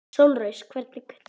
Sólrós, hvernig er veðrið í dag?